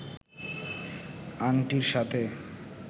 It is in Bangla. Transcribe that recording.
আংটির সাথে